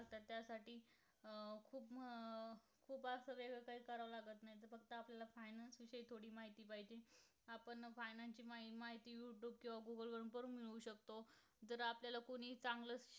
त कोणी चांगलच